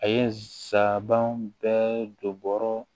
A ye saban bɛɛ don bɔrɔ